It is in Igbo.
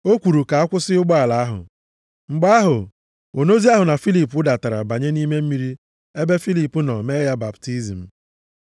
O kwuru ka a kwụsị ụgbọala ahụ. Mgbe ahụ, onozi ahụ na Filip wụdatara banye nʼime mmiri ebe Filip nọ mee ya baptizim.